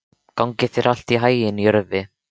Gangi þér allt í haginn, Jörvi.